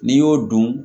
N'i y'o dun